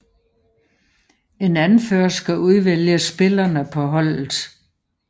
En Anfører skal udvælge spillerne på holdet